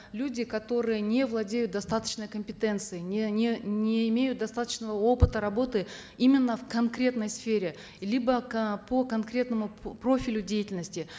люди которые не владеют достаточной компетенцией не не не имеют достаточного опыта работы именно в конкретной сфере либо э по конкретному профилю деятельности